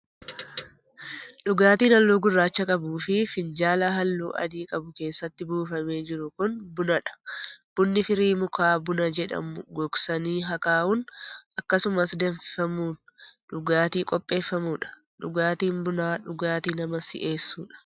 Dhugaatiin haalluu gurraacha qabuu fi finjaala haalluu adii qabu keessatti buufamee jiru kun, buna dha. Bunni firii mukaa buna jedhamu gogsanii akaa'uun akkasumas danfifamuun dhugaatii qopheeffamuu dha. Dhugaatiin bunaa, dhugaatii nama si'eessuudha.